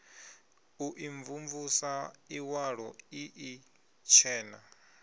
u imvumvusa iwalo ii itshena